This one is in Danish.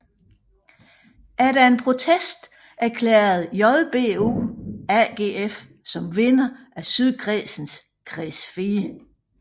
Efter en protest erklærede JBU AGF som vinder af Sydkredsens Kreds 4